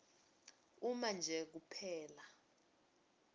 uma nje kuphela